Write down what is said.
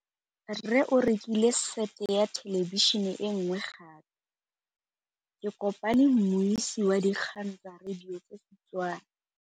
Rre o rekile sete ya thêlêbišênê e nngwe gape. Ke kopane mmuisi w dikgang tsa radio tsa Setswana.